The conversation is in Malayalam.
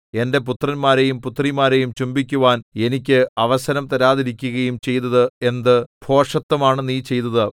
എന്റെ പുത്രന്മാരെയും പുത്രിമാരെയും ചുംബിക്കുവാൻ എനിക്ക് അവസരം തരാതിരിക്കുകയും ചെയ്തത് എന്ത് ഭോഷത്വമാണു നീ ചെയ്തത്